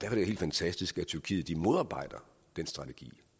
helt fantastisk at tyrkiet modarbejder den strategi